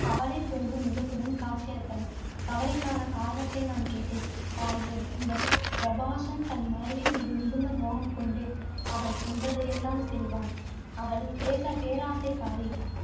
கவலை பொங்கும் முகத்துடன் காட்சியளித்தனர். கவலைக்கான காரணத்தை நான் கேட்டேன். தாயே இந்த பிரபாசன் தன் மனைவி மீது மிகுந்த மோகம் கொண்டு, அவள் சொல்வதையெல்லாம் செய்வான். அவள் பேசை~ பேராசைக்காரி.